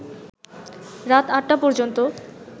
রাত ৮টা পর্যন্ত